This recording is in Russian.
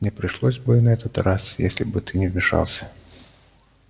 не пришлось бы и на этот раз если бы ты не вмешался